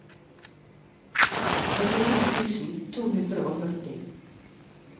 trettien tusen to hundre og førti